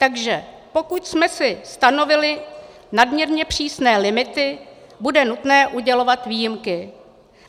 Takže pokud jsme si stanovili nadměrně přísné limity, bude nutné udělovat výjimky.